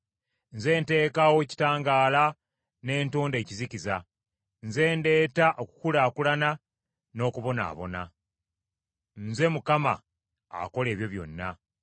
Nze nteekawo ekitangaala ne ntonda ekizikiza. Nze ndeeta okukulaakulana n’okubonaabona. Nze Mukama akola ebyo byonna.